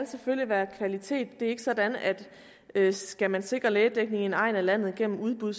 selvfølgelig være kvalitet det er ikke sådan at skal man sikre lægedækningen i en egn af landet gennem udbud